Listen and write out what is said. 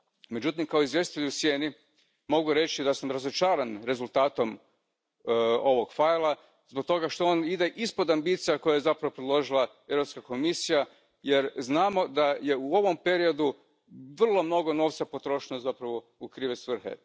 Međutim, kao izvjestitelj u sjeni mogu reći da sam razočaran rezultatom ovog fajla, zbog toga što on ide ispod ambicija koje je zapravo predložila Europska komisija jer znamo da je u ovom periodu vrlo mnogo novca potrošeno zapravo u krive svrhe.